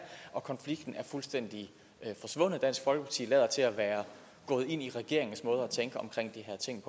konflikten er fuldstændig forsvundet dansk folkeparti lader til at være gået ind i regeringens måde at tænke